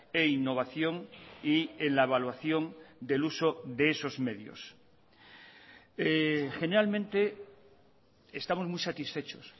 e innovación y en la evaluación del uso de esos medios generalmente estamos muy satisfechos